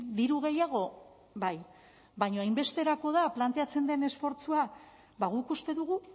diru gehiago bai baina hainbesterako da planteatzen den esfortzua ba guk uste dugu